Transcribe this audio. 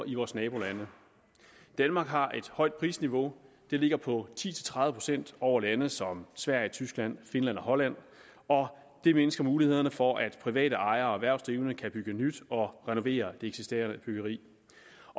i vores nabolande danmark har et højt prisniveau det ligger på ti til tredive procent over lande som sverige tyskland finland og holland og det mindsker mulighederne for at private ejere og erhvervsdrivende kan bygge nyt og renovere det eksisterende byggeri